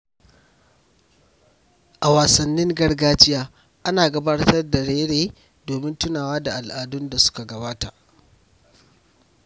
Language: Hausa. A wasannin gargajiya, ana gabatar da raye-raye domin tunawa da al’adun da suka gabata.